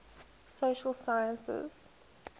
social sciences